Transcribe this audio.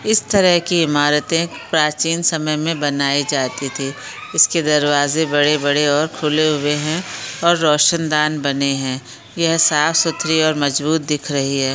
इस तरह की इमारते प्राचीन समय में बनाई जाती थी इसके दरवाजे बड़े-बड़े और खुले हुऐ है और रोशन दान बने है यह साफ सुथरी और मजबूत दिख रही है।